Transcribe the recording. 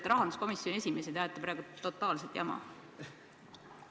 Te olete rahanduskomisjoni esimees ja te ajate praegu totaalset jama.